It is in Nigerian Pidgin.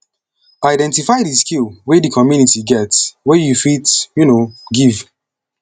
identify di skill wey di community get wey you fit um give